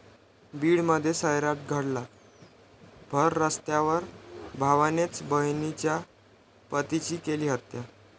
बीडमध्ये 'सैराट' घटना, भररस्त्यावर भावानेच बहिणीच्या पतीची केली हत्या